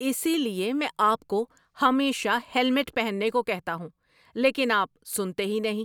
اسی لیے میں آپ کو ہمیشہ ہیلمٹ پہننے کو کہتا ہوں، لیکن آپ سنتے ہی نہیں۔